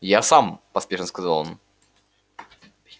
я сам поспешно сказал он